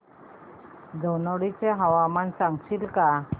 धनोडी चे तापमान सांगशील का